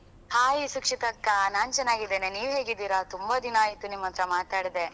Hi ಸುಕ್ಷಿತಾಕ್ಕ ನಾನ್ ಚೆನ್ನಾಗಿದ್ದೇನೆ ನೀವ್ ಹೇಗಿದ್ದೀರಾ ತುಂಬಾ ದಿನ ಆಯ್ತು ನಿಮ್ಮತ್ರ ಮಾತಾಡ್ದೆ?